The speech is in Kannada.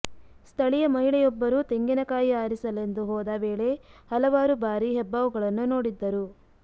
ಸ್ಥಳೀಯ ಮಹಿಳೆಯೊಬ್ಬರು ತೆಂಗಿನಕಾಯಿ ಆರಿಸಲೆಂದು ಹೋದ ವೇಳೆ ಹಲವಾರು ಬಾರಿ ಹೆಬ್ಬಾವುಗಳನ್ನು ನೋಡಿದ್ದರು